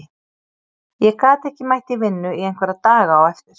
Ég gat ekki mætt í vinnu í einhverja daga á eftir.